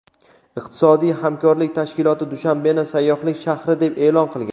Iqtisodiy hamkorlik tashkiloti Dushanbeni sayyohlik shahri deb e’lon qilgan.